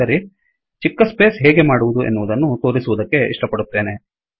ಸರಿ ಚಿಕ್ಕ ಸ್ಪೇಸ್ ಹೇಗೆ ಮಾಡುವದು ಎನ್ನುವದನ್ನು ತೋರಿಸುವದಕ್ಕೆ ಇಷ್ಟಪಪಡುತ್ತೇನೆ